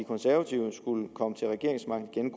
konservative skulle komme til regeringsmagten